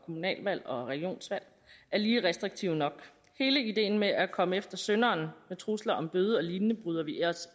kommunalvalg og regionsvalg er lige restriktive nok hele ideen med at komme efter synderen med trusler om bøder og lignende bryder vi os